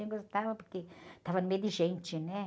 Eu gostava porque eu estava no meio de gente, né?